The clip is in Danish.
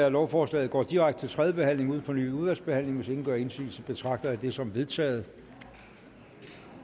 at lovforslaget går direkte til tredje behandling uden fornyet udvalgsbehandling hvis ingen gør indsigelse betragter jeg det som vedtaget